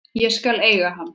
Ég skal eiga hann.